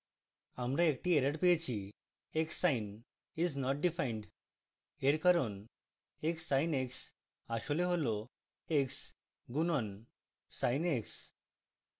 আমরা একটি error পেয়েছি: xsin is not defined